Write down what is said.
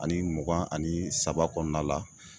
Ani mugan ani saba kɔɔna la